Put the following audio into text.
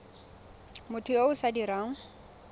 motho yo o sa dirang